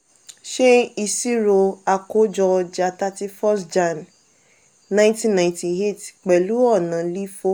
ṣe iṣiro akojo ọja thirty first jan nineteen ninety eight pẹ̀lú ọna lifo.